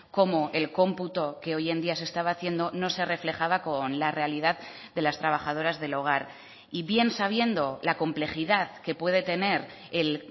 cómo el computo que hoy en día se estaba haciendo no se reflejaba con la realidad de las trabajadoras del hogar y bien sabiendo la complejidad que puede tener el